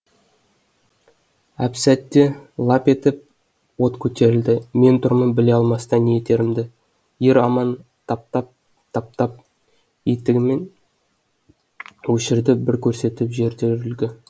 әпсәтте лап етіп от көтерілді мен тұрмын біле алмастан не етерімді ер аман таптап таптап етігімен өшірді бір көрсетіп жетер үлгі